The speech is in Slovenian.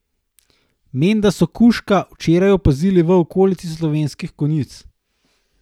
Menda so kužka včeraj opazili v okolici Slovenskih konjic.